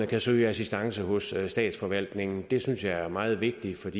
kan søge assistance hos statsforvaltningen det synes jeg er meget vigtigt